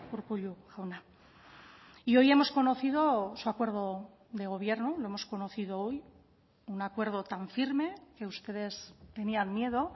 urkullu jauna y hoy hemos conocido su acuerdo de gobierno lo hemos conocido hoy un acuerdo tan firme que ustedes tenían miedo